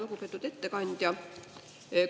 Lugupeetud ettekandja!